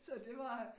Så det var